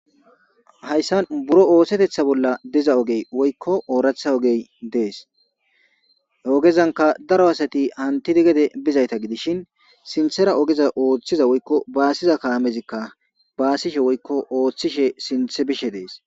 hayssan buro oohsetetha bolla diza ogey woykko ooratha ogey dees ogezanka daro asati antid gede bizayta gidishin sinthera ogeza ooththiza woykko baasiza kaamezikka baasishe woykko ooththishe sinthe bishe dees